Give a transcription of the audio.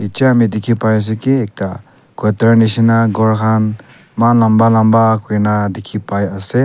dekhi pai ase ki ekta quarter nishena ghor khan eman lamba lambo kurina dekhibai ase.